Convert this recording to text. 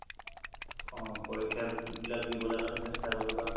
অ পৰীক্ষা বিলাক দিবলৈ কাৰণে চেষ্টা কৰিবা